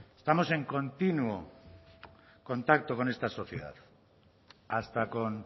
estamos en continuo contacto con esta sociedad hasta con